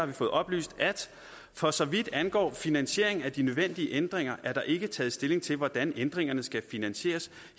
vi fået oplyst at for så vidt angår finansieringen af de nødvendige ændringer er der ikke taget stilling til hvordan ændringerne skal finansieres